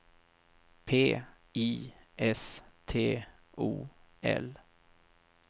P I S T O L